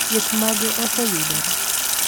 thieth mage oseyudore